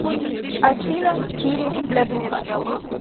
афина сири блядуха